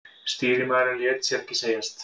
Stýrimaðurinn lét sér ekki segjast.